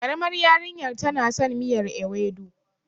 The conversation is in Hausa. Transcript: ƙaramar yarinyar tana son miyar ewedu.